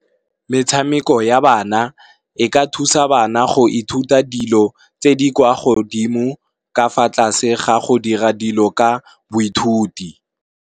Metshameko ya bana, e ka thusa bana go ithuta dilo tse di kwa godimo ka fa tlase ga go dira dilo ka boithuti.